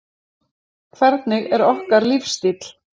Hvernig er okkar lífsstíll?